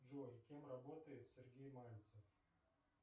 джой кем работает сергей мальцев